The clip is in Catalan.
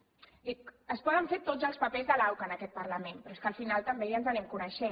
dic es poden fer tots els papers de l’auca en aquest parlament però és que al final també ja ens anem coneixent